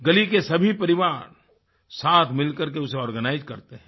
गली के सभी परिवार साथ मिलकर के उसे आर्गेनाइज करते हैं